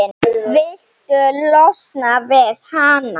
Viltu losna við hana?